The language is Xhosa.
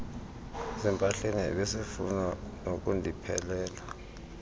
ezimpahleni ebesefuna nokundiphelela